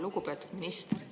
Lugupeetud minister!